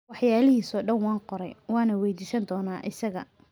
Waxyaalihiisa oo dhan waan qoray, waana weyddiisan doonaa isaga.